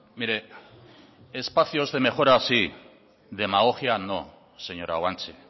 mire espacios de mejora sí demagogia no señora guanche